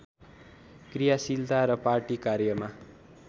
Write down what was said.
क्रियाशीलता र पार्टी कार्यमा